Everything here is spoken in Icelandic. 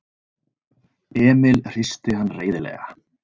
Emil hristi hann reiðilega.